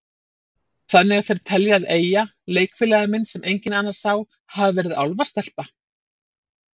Þannig að þeir telja að Eyja, leikfélagi minn sem enginn annar sá, hafi verið álfastelpa?